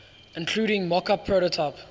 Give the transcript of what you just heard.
including mockup prototype